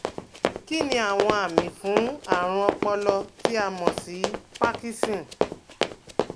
Kíniàwọn àmì fún àrùn ọpọlọ tí a mọ̀ sí parkinson?